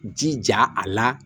Jija a la